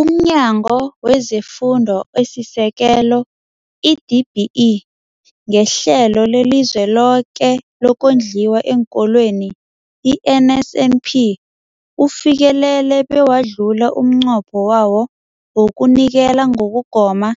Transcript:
UmNyango wezeFundo esiSekelo, i-DBE, ngeHlelo leliZweloke lokoNdliwa eenKolweni, i-NSNP, ufikelele bewadlula umnqopho wawo wokunikela ngokugoma